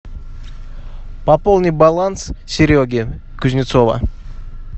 пополни баланс сереги кузнецова